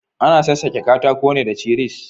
Ana sassake katako ne da cisir.